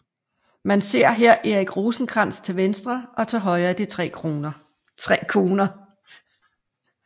Man ser her Erik Rosenkrantz til venstre og til højre de tre koner